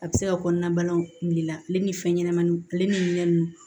A bɛ se ka kɔnɔna banaw bila ale ni fɛn ɲɛnɛmaninw ale ni minɛn ninnu